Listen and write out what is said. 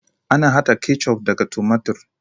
Ana haɗa kecuf daga tumatur.